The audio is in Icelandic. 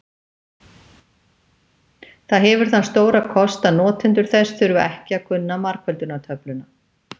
það hefur þann stóra kost að notendur þess þurfa ekki að kunna margföldunartöfluna